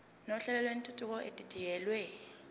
nohlelo lwentuthuko edidiyelwe